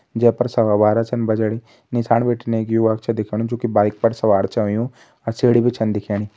जे पर सवा बारा छन बजणी नीसाण बिटिन एक युवक छ दिख्योंणु जु की बाइक पर सवार छ होयु और सीढ़ी भी छन दिखेणी।